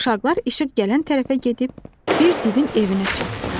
Uşaqlar işıq gələn tərəfə gedib, bir divin evinə çatdılar.